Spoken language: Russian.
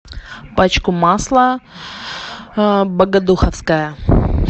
пачку масла богодуховское